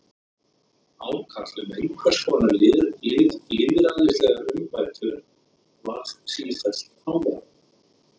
Ákall um einhvers konar lýðræðislegar umbætur varð sífellt háværara.